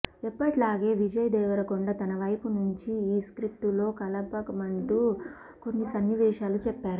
ఎప్పటిలాగే విజయ్ దేవరకొండ తన వైపు నుంచి ఈ స్క్రిప్టులో కలపమంటూ కొన్ని సన్నివేశాలు చెప్పారట